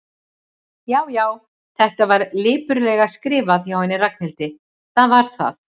Já, já, þetta var lipurlega skrifað hjá henni Ragnhildi, það var það.